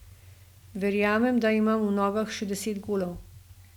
Verjamem, da imam v nogah še deset golov.